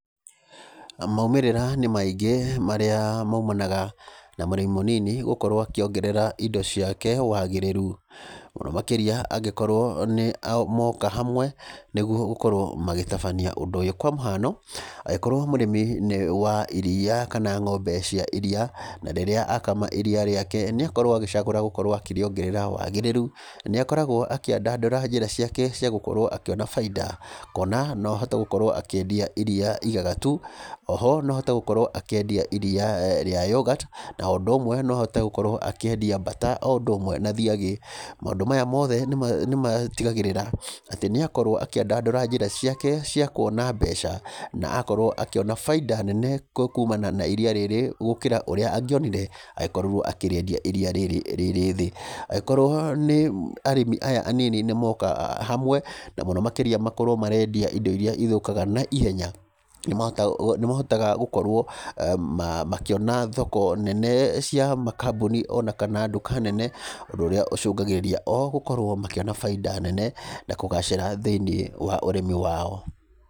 Maumĩrĩra nĩ maingĩ marĩa maimanaga na mũrĩmi mũnini gũkorwo akĩongerera indo ciake wagĩrĩru, mũno makĩria angĩkorwo nĩ a moka hamwe, nĩguo gũkorwo magĩtabania ũndũ ũyũ, kwa mũhano, angĩkorwo mũrĩmi nĩ wa iria, kana ng'ombe cia iria, na ríĩrĩa akama iria rĩake nĩkorwo agĩcagũra gũkorwo akĩriongerera wagĩrĩru, nĩ akoragwo akĩandandũra njĩra ciake cia gũkorwo akĩona bainda, kuona no ahote gũkorwo akĩendia iria igagatu, oho no ahote gũkorwo akĩendia iria eeh rĩa yogati, na o ũndũ ũmwe no ahote gũkorwo akĩendia buttrer, o ũndũ ũmwe na thiagĩ, maũndũ maya mothe, nĩma nĩmatigagĩrĩra ati nĩ akorwo akĩandandũra njĩra ciake cia kuona mbeca, na akorwo akĩona bainda nene kumana na iria rĩrĩ, gũkĩra ũrĩa angĩonire, agĩkorwo akĩriendia iria rĩrĩ rĩ rĩthĩ, angĩkorwo nĩ arĩmi aya anini nĩmoka hamwe, na mũno makĩria makorwo marendia indo iria ithũkaga na ihenya, nĩ mahotaga gũ nĩ mahotaga gũkorwo eeh makĩona thoko nene cia makambuni onakana nduka nene, ũndũ ũrĩa ũcũngagĩrĩria o gũkorwo makĩona bainda nene, na kũgacĩra thĩinĩ wa ũrĩmi wao.